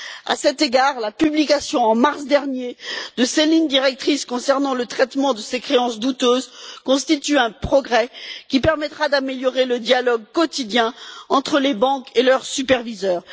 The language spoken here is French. À cet égard, la publication, en mars dernier, de ses lignes directrices concernant le traitement de ces créances douteuses constitue un progrès qui permettra d'améliorer le dialogue quotidien entre les banques et leurs superviseurs.